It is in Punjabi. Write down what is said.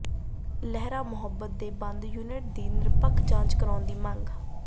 ਲਹਿਰਾ ਮੁਹੱਬਤ ਦੇ ਬੰਦ ਯੂਨਿਟ ਦੀ ਨਿਰਪੱਖ ਜਾਂਚ ਕਰਾਉਣ ਦੀ ਮੰਗ